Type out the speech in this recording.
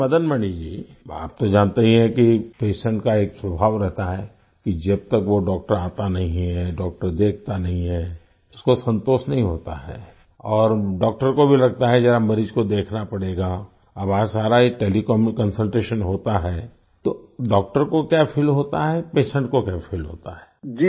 अच्छा मदन मणि जी आप तो जानते ही हैं कि पेशेंट का एक स्वभाव रहता है कि जब तक वो डॉक्टर आता नहीं है डॉक्टर देखता नहीं है उसको संतोष नहीं होता है और डॉक्टर को भी लगता है जरा मरीज को देखना पड़ेगा अब वहाँ सारा ही टेलीकॉम में कंसल्टेशन होता है तो डॉक्टर को क्या फील होता है पेशेंट को क्या फील होता है